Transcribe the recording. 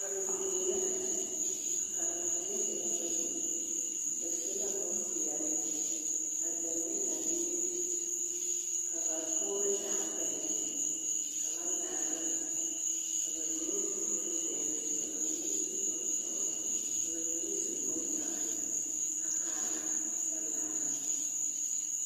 Karendie la a kyɛ, a karema mine e la bayi ba su la bompeɛle a zeŋ ne a biiri ka ba poore zaa pɛle ka ba laara ka bamine su bonzeere ka bamine su bonsɔgelɔ ka bamine su bondɔre a kaara kyɛ laara.